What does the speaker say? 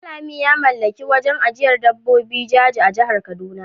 Danlami ya mallaki wurin ajiyar dabbobin jaji a jihar kaduna.